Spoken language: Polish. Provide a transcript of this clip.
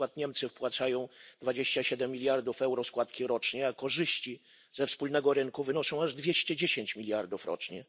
Na przykład Niemcy wpłacają 27 miliardów euro składki rocznie, a korzyści ze wspólnego rynku wynoszą aż 210 miliardów rocznie.